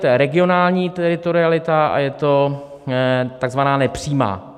To je regionální teritorialita a je to takzvaná nepřímá.